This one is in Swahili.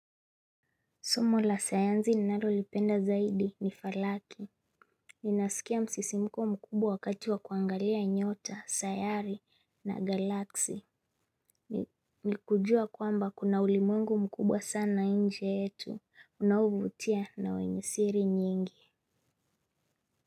Somo la sayanzi ninalolipenda zaidi ni falaki. Ninasikia msisimuko mkubwa wakati wa kuangalia nyota, sayari na galaksi. Ni kujua kwamba kuna ulimwengu mkubwa sana nje yetu. Unaovutia na wenye siri nyingi.